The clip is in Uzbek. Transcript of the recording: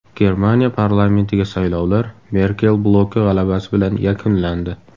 Germaniya parlamentiga saylovlar Merkel bloki g‘alabasi bilan yakunlandi.